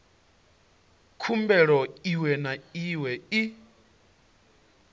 khumbelo iwe na iwe i